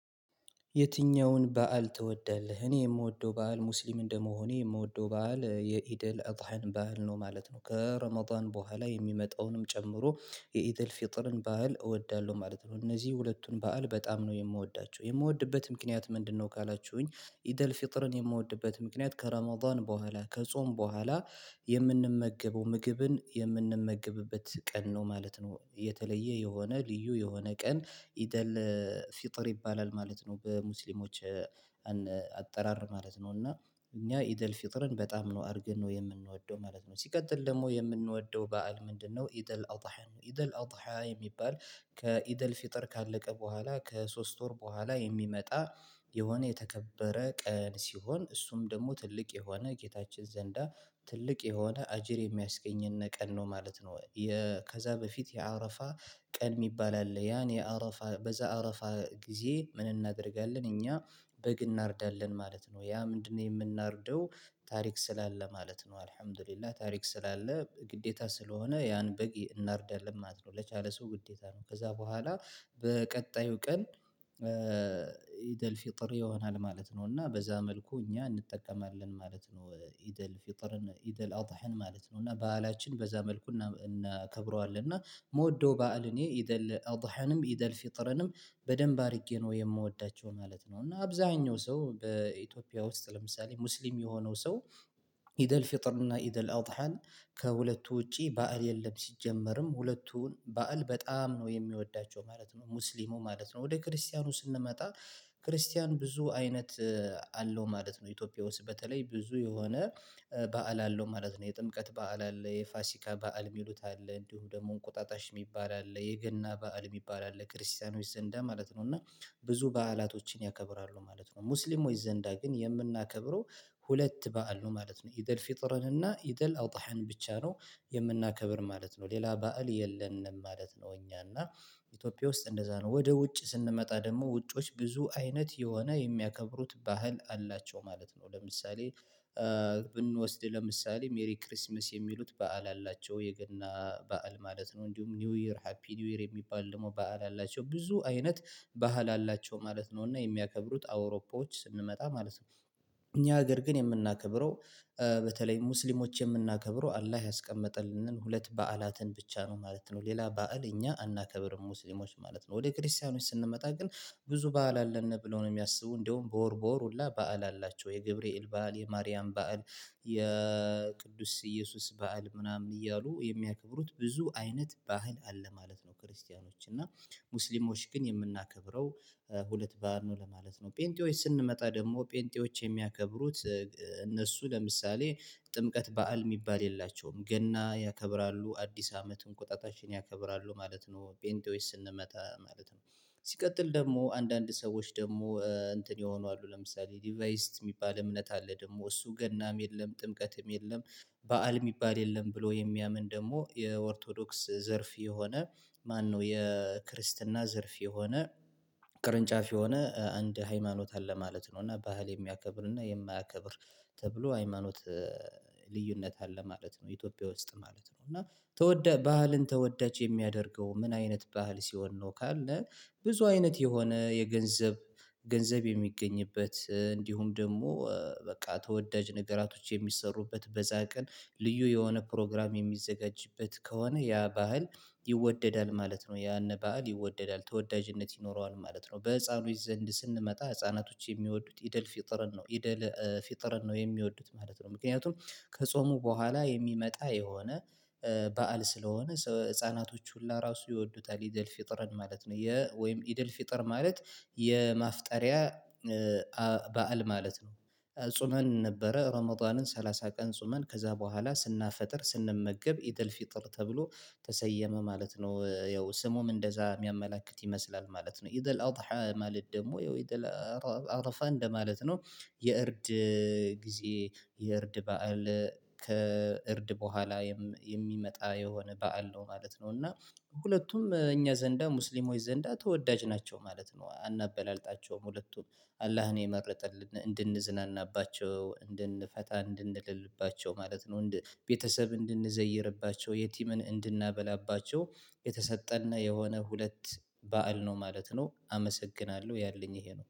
የትኛውን በዓል ትወዳለህ? እኔ የምወደው በዓል ሙስሊም እንደመሆኔ የምወደው በዓል የኢድል እደሃን በዓል ነው ማለት ነው። ከረመዳን በኋላ የሚመጣውንም ጨምሮ የኢድአል ፊጥርን በዓል እወዳለሁ ማለት ነው። እነዚህ ሁለቱን በዓል በጣም ነው የምወዳቸው የምወድበት ምክንያት ምንድነው ካላችሁኝ? ኢደል ፍጥርን የምወድበት ምክንያት ከረማውዳን በኋላ ከጾም በኋላ የምንመገበው ምግብን የምንመገብበት ቀን ነው ማለት ነው። የተለየ የሆነ ልዩ የሆነ ቀን ኢደል ፈጥር ይባላል ማለት ነው። በሙስሊሞች አጠራር ማለት ነው። እና እኛ ኢዳልፍጥርን በጣም ነው አድርገን ነው የምንወደው ማለት ነው። ሲቀጥል ደግሞ የምንወደው በዓል ምንድነው? ኢዳልአደሀ ነው። ኢደል አዳሀ የሚባል ከኢደል ፊጠር ካለቀ በኋላ ከሶስት ወር በኋላ የሚመጣ። የሆነ የተከበረ ቀን ሲሆን እሱም ደግሞ ትልቅ የሆነ ጌታችን ዘንዳ ትልቅ የሆነ አጅር የሚያስገኝን ቀን ነው ማለት ነው። ከዛ በፊት የአረፋ ቀን የሚባል አለ ያን የአረፋ በዛ አረፋ ጊዜ ምን እናደርጋለን? እኛ በግ እናርዳለን ማለት ነው። ያ ምንድነው? የምናርደው ታሪክ ስላለ ማለት ነው። አልሀምድሊላህ ታሪክ ስላለ ግዴታ ስለሆነ ያን በግ እናርዳለን ማለት ነው። ለቻለ ሰው ግዴታ ነው። ከዛ በኋላ በቀጣዩ ቀን ኢዳልፈጥር ይሆናል ማለት ነው። እና በዛ መልኩ እኛ እንጠቀማለን ማለት ነው። ኢዳልፈጥርን ኢዳልአደሀን ማለት ነው እና በዓላችን በዛ መልኩ እናከብረዋለን። እኔ እመወደው በዓል እኔ ኢዳል አዳሀንም ኢደል ፍጥረንም በደንብ አድርጌ ነው የምወዳቸው ማለት ነው። እና አብዛኛው ሰው በኢትዮጵያ ውስጥ ለምሳሌ ሙስሊም የሆነው ሰው። ኢደል ፊጥር እና ኢደል አደሀን ከሁለቱ ውጪ ባዓል የለም። ሲጀመርም ሁለቱን ባዓል በጣም ነው የሚወዳቸው ማለት ነው። ሙስሊሙ ማለት ነው ወደ ክርስቲያኑ ስንመጣ ክርስቲያን ብዙ አይነት አለው ማለት ነው። ኢትዮጵያ ውስጥ በተለይ ብዙ የሆነ በዓል አለው ማለት ነው። የጥምቀት በዓል አለ የፋሲካ በዓል የሚሉት አለ እንዲሁ ደግሞ እንቁጣጣሽ የሚባል አለ የገና በዓል የሚባል አለ ክርስቲያኖች ዘንዳ ማለት ነው። እና ብዙ በዓላቶችን ያከብራሉ ማለት ነው። ሙስሊሞች ዘንዳ ግን የምናከብረው ሁለት በዓል ነው ማለት ነው። ኢዳል ፊጥረንና ኢዳል አዳሀን ብቻ ነው የምናከብር ማለት ነው። ሌላ ባእል የለንም ማለት ነው። እኛ እና ኢትዮጵያ ውስጥ እንደዛ ነው። ወደ ውጭ ስንመጣ ደግሞ ውጭዎችች ብዙ አይነት የሆነ የሚያከብሩት ባህል አላቸው ማለት ነው። ለምሳሌ ብንወስድ ለምሳሌ ሜሪ ክርስማስ የሚሉት በዓል አላቸው የገና በዓል ማለት ነው። እንዲሁም ኒው ይር ሃፒ ኒው ይር የሚባል ደግሞ በዓል አላቸው ብዙ አይነት ባህል አላቸው ማለት ነው። እና የሚያከብሩት አውሮፖዎች ስንመጣ ማለት ነው። እኛ ሀገር ግን የምናከብረው በተለይ ሙስሊሞች የምናከብረው አላህ ያስቀመጠልንን ሁለት በዓላትን ብቻ ነው ማለት ነው። ሌላ በዓል እኛ አናከብርም ሙስሊሞች ማለት ነው። ወደ ክርስቲያኖች ስንመጣ ግን ብዙ በዓል አለን ብለው ነው የሚያስቡ እንደውም በወር በወር ሁላ በዓል አላቸው የገብርኤል በዓል የማርያም በዓል የቅዱስ እየሱስ በዓል ምናምን እያሉ የሚያከብሩት ብዙ አይነት ባዓል አለ ማለት ነው። ክርስቲያኖች እና ሙስሊሞች ግን የምናከብረው ሁለት ባዓል ነው ለማለት ነው። ጴንጢዎች ስንመጣ ደግሞ ጴንጤዎች የሚያከብሩት እነሱ ለምሳሌ ጥምቀት በዓል የሚባል የላቸውም ገና ያከብራሉ አዲስ አመትም እንቁጣጣችን ያከብራሉ ማለት ነው። ፔንጤዎች ስንመጣ ማለት ነው። ሲቀጥል ደግሞ አንዳንድ ሰዎች ደግሞ እንትን የሆኑ አሉ ለምሳሌ ዲቫይስት የሚባል እምነት አለ ደግሞ እሱ ገናም የለም ጥምቀትም የለም። በዓል የሚባል የለም ብሎ የሚያምን ደግሞ የኦርቶዶክስ ዘርፍ የሆነ ማነው የክርስትና ዘርፍ የሆነ ቅርንጫፍ የሆነ አንድ ሃይማኖት አለ ማለት ነው። እና ባህል የሚያከብር እና የማያከብር ተብሎ ሃይማኖት ልዩነት አለ ማለት ነው። ኢትዮጵያ ውስጥ ማለት ነው እና ተወደድ ባህልን ተወዳጅ የሚያደርገው ምን አይነት ባህል ሲሆን ነው? ካለ ብዙ አይነት የሆነ የገንዘብ ገንዘብ የሚገኝበት እንዲሁም ደግሞ በቃ ተወዳጅ ነገራቶች የሚሰሩበት በዛ ቀን ልዩ የሆነ ፕሮግራም የሚዘጋጅበት ከሆነ ያ ባዓል ይወደዳል ማለት ነው። ያን ባህል ይወደዳል ተወዳጅነት ይኖረዋል ማለት ነው። በህፃኖች ዘንድ ስንመጣ ህፃናቶች የሚወዱት ኢደል ፊጥርን ነው ኢደል ፊጥርን ነው የሚወዱት ማለት ነው። ምክንያቱም ከጾሙ በኋላ የሚመጣ የሆነ በዓል ስለሆነ ህፃናቶች ሁላ ራሱ ይወዱታል ኢደል ፍጥርን ማለት ነው። ወይም ኢደልፊጥር ማለት የማፍጠሪያ በዓል ማለት ነው። ጹመን ነበረ ረመዳንን ሰላሳ ቀን ጾመን ከዛ በኋላ ስናፈጥር ስንመገብ ኢደልፊጥር ተብሎ ተሰየመ ማለት ነው። ያው ስሙም እንደዛ የሚያመላክት ይመስላል ማለት ነው። ኢድአላደሀ ማለት ያው አረፋ እንደማለት ነው። የእርድ ጊዜ የእርድ በዓል ከእርድ በኋላ የሚመጣ የሆነ በዓል ነው ማለት ነው። እና ሁለቱም እኛ ዘንዳ ሙስሊሞች ዘንዳ ተወዳጅ ናቸው ማለት ነው። አናበላልጣቸውም ሁለቱም አላህን የመረጠልን እንድንዝናናባቸው እንድንፈታ እንድንልባቸው ማለት ነው። ቤተሰብ እንድንዘይርባቸው የቲምን እንድናበላባቸው የተሰጠን የሆነ ሁለት በዓል ነው ማለት ነው። አመሰግናለሁ ያለኝ ይሄ ነው